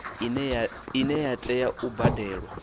ine ya tea u badelwa